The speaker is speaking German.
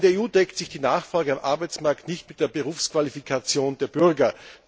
In der EU deckt sich die Nachfrage am Arbeitsmarkt nicht mit der Berufsqualifikation der Bürger.